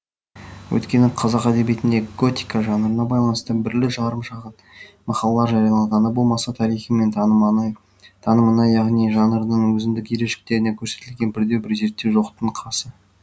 өйткені қазақ әдебиетінде готика жанрына байланысты бірлі жарым шағын мақалалар жарияланғаны болмаса тарихы мен танымына яғни жанрдың өзіндік ерекшеліктері көрсетілген бірде бір зерттеу жоқтың қасы